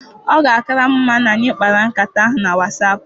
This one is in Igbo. Ọ ga-akara m mma na anyị kpara nkata ahụ na Wasap.